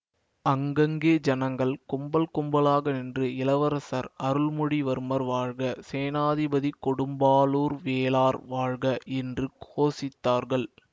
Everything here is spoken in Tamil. அங்கங்கே ஜனங்கள் கும்பல் கும்பலாக நின்று இளவரசர் அருள்மொழிவர்மர் வாழ்க சேநாதிபதி கொடும்பாளூர் வேளார் வாழ்க என்று கோஷித்தார்கள்